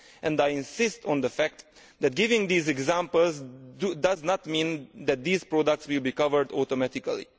And I insist on the fact that giving these examples does not mean that these products will be covered automatically.